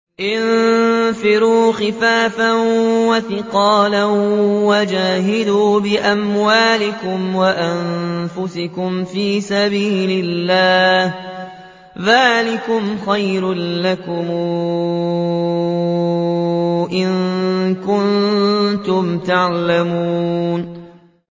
انفِرُوا خِفَافًا وَثِقَالًا وَجَاهِدُوا بِأَمْوَالِكُمْ وَأَنفُسِكُمْ فِي سَبِيلِ اللَّهِ ۚ ذَٰلِكُمْ خَيْرٌ لَّكُمْ إِن كُنتُمْ تَعْلَمُونَ